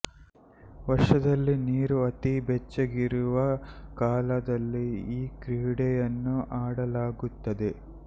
ವರ್ಷದಲ್ಲಿ ನೀರು ಅತಿ ಬೆಚ್ಚಗಿರುವ ಕಾಲದಲ್ಲಿ ಈ ಕ್ರೀಡೆಯನ್ನು ಆಡಲಾಗುತ್ತದೆ